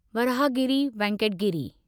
Varahagiri Venkata Giri